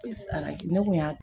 ne kun y'a